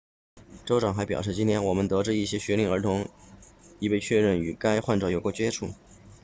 州长还表示今天我们得知一些学龄儿童已被确认曾与该患者有过接触